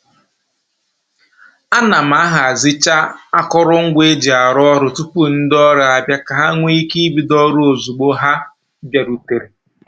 A na m ahazicha akụrụngwa e ji arụ ọrụ tupu ndị ọrụ abịa ka ha nwee ike ibido ọrụ ozugbo ha bịarutere